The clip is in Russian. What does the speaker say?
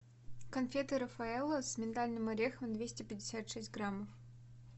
конфеты рафаэлло с миндальным орехом двести пятьдесят шесть граммов